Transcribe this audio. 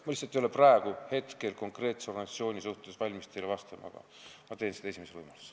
Ma lihtsalt ei ole praegu konkreetse organisatsiooni kohta valmis teile vastama, aga teen seda esimesel võimalusel.